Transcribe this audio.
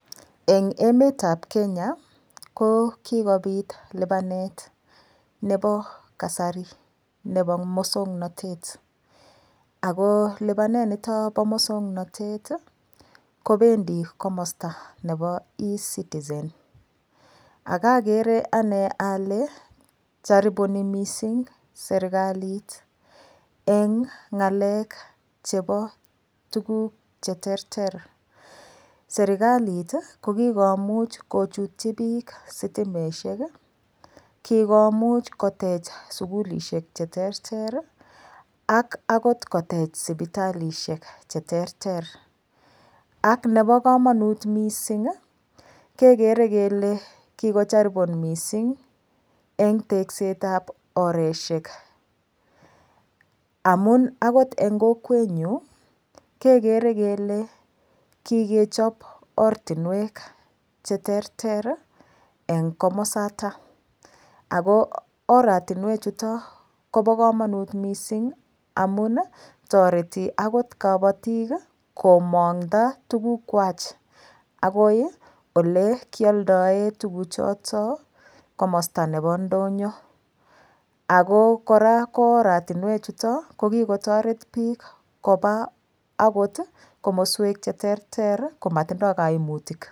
Eng emet ab Kenya ko kikobiit lipanet nebo kasari nebo musangnatet ako lupaneet nitoon bo musangnatet ii kobendii komosta nebo [e citizen] aka kere ane ale charibunani missing serikaliit eng ngalek chebo tuguuk che terter serikaliit ii ko kikomuuch ko chutyi biik sitimeet ii kikomuuch koteech sugulisheek che terter ii ak akoot koteech sipitalishek che terter ak nebo kamanut missing ii kegere kele kikocharibunaan missing en tekset ab oresheek amuun akoot en kokwet nyuun kegere kele kigechasp ortinweek en komosaataa ako oratinweek chotoon kobaa kamanuut missing amuun ii taretii akoot kabatiik ii komaangada tuguuk kwaak akoib ele kiyaldaen tuguuk chotoon komosta nebo ndonyoo ako kora ko oratinweek chutoon ko kikotaret biik kobaa akoot komosweek che terter. komatindoi kaimutiik.